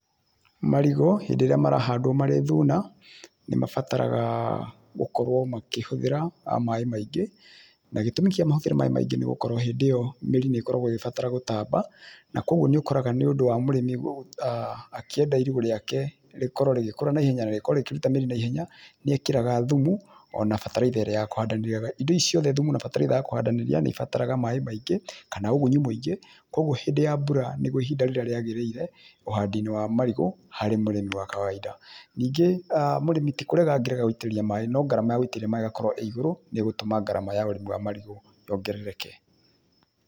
Marĩgũ hĩndĩ ĩrĩa marahandwo marĩ thuna, nĩ mabataraga gũkorwo makĩhũthĩra maĩ maingĩ na gĩtũmi kĩa mahũthĩre maĩ maingĩ nĩ gũkorwo hĩndĩ ĩyo míĩri nĩ ĩkoragwo ĩgĩbatara gũtamba na kwoguo nĩ ũkoraga nĩũndũ wa mũrĩmĩ akĩenda irigũ riake rĩkorwo rĩgĩkũra naihenya na rĩkorwo rĩkĩruta mĩri naihenya nĩekĩraga thumu ona bataraitha ĩrĩa ya kũhandanĩria. Indo ici ciothe thumu na bataraitha ya kũhandanĩria nĩ ĩbataraga maĩ maingĩ kana ugunyu mũingĩ kwoguo hĩndĩ ya mbura nĩguo ihinda rĩrĩa rĩagĩrĩire ũhandiinĩ wa marigũ harĩ mũrĩmi wa kawaida. Ningĩ mũrĩmi ti kũrega angĩrega gũitĩrĩria maĩ no garama ya gũitĩrĩria maĩ ĩgakorwo ĩĩ igũrũ nĩĩgũtũma garama ya ũrĩmi wa marigũ yongerereka.